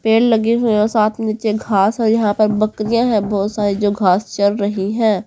पेड़ लगे हुए है और साथ में नीचे घास और यहां पर बकरिया है बहुत सारी जो घास चर रही है।